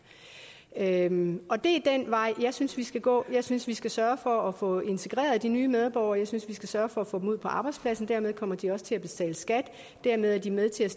det er den vej jeg synes vi skal gå jeg synes vi skal sørge for at få integreret de nye medborgere jeg synes vi skal sørge for at få dem ud på arbejdspladserne dermed kommer de også til at betale skat og dermed er de med til